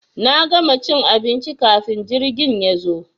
Na gama cin abinci kafin jirgin yazo.